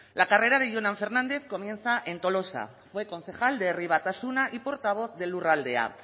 la carrera de jonan fernández comienza en tolosa fue concejal de herri batasuna y portavoz de lurraldea